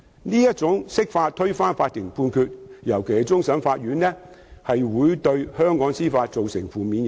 這種釋法推翻法庭判決，尤其是終審法院的判決，會對香港司法造成負面影響。